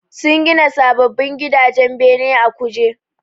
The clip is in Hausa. Sun gina sababbin gidajen bene a Kuje